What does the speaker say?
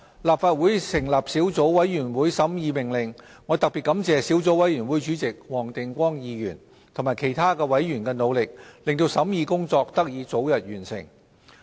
立法會成立小組委員會審議《命令》，我特別感謝小組委員會主席黃定光議員及其他委員的努力，令審議工作得以早日完成。